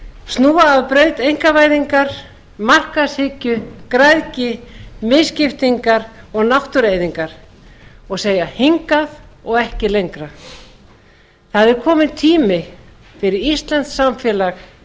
snúa af braut einkavæðingar markaðshyggju græðgi misskiptingar og náttúrueyðingar og segja hingað og ekki lengra það er kominn tími fyrir íslenskt samfélag